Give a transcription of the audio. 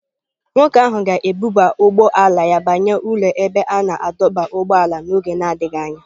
Nwoke ahụ ga-ebuba ụgbọ ala ya banye n'ụlọ ebe a na-adọba ụgbọala n'oge na-adịghị anya.